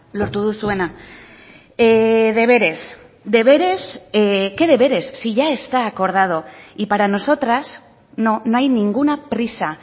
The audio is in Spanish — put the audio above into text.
lortu duzuena deberes deberes qué deberes si ya está acordado y para nosotras no hay ninguna prisa